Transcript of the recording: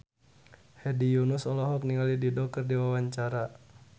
Hedi Yunus olohok ningali Dido keur diwawancara